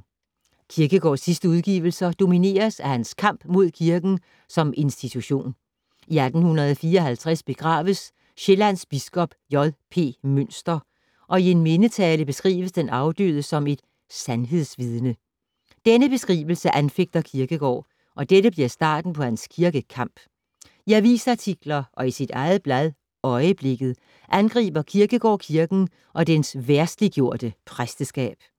Kierkegaards sidste udgivelser domineres af hans kamp mod kirken som institution. I 1854 begraves Sjællands biskop, J. P. Mynster, og i en mindetale beskrives den afdøde som et ”sandhedsvidne”. Denne beskrivelse anfægter Kierkegaard og dette bliver starten på hans kirkekamp. I avisartikler og i sit eget blad Øieblikket angriber Kierkegaard kirken og dens verdsliggjorte præsteskab.